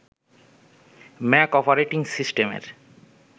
Mac operating সিস্টেমের